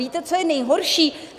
Víte, co je nejhorší?